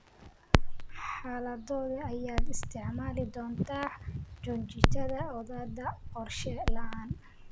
Xaaladodee ayaad isticmaali doontaa joojinta odhaahda qorshe la'aan?